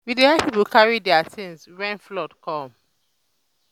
we dey help pipo carry their tins wen flood come